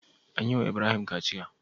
An yi wa Ibrahim kaciya?